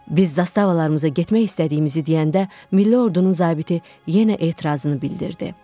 Biz zastavalarımıza getmək istədiyimizi deyəndə, milli ordunun zabiti yenə etirazını bildirdi.